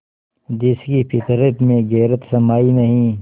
जिसकी फितरत में गैरत समाई नहीं